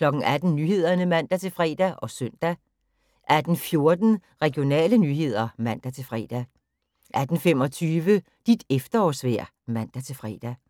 18:00: Nyhederne (man-fre og søn) 18:14: Regionale nyheder (man-fre) 18:25: Dit efterårsvejr (man-fre)